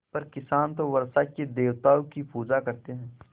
पर किसान तो वर्षा के देवताओं की पूजा करते हैं